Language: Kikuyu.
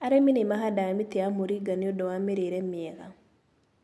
Arĩmĩ nĩmahandaga mĩtĩ ya moringa nĩũndũ wa mĩrĩre mĩega.